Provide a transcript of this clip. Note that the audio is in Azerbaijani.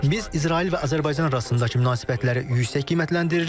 Biz İsrail və Azərbaycan arasındakı münasibətləri yüksək qiymətləndiririk.